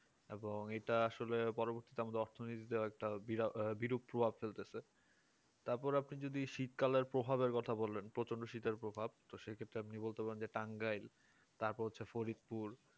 এবং এটা আসলে পরবর্তীতে অর্থনীতিতে একটা বিরাট বিরূপ প্রভাব ফেলতেছে তারপর আপনি যদি শীতকালে প্রভাবের কথা বললেন প্রচন্ড শীতের প্রভাব সে ক্ষেত্রে আপনি বলতে পারেন যে টাঙ্গাই তারপর হচ্ছে ফড়িংপুর